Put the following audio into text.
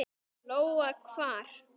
Lóa: Hvar?